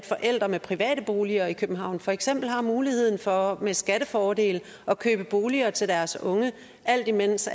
forældre med private boliger i københavn for eksempel har muligheden for med skattefordele at købe boliger til deres unge alt imens